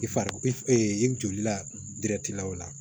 I farikolo i joli la diɛrɛtilaw la